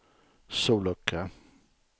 sollucka